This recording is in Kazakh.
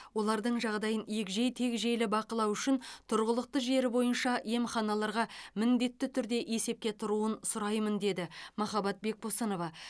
олардың жағдайын егжей тегжейлі бақылау үшін тұрғылықты жері бойынша емханаларға міндетті түрде есепке тұруын сұраймын деді махаббат бекбосынова